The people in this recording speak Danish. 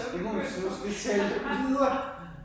Det må hun snuskes til, videre!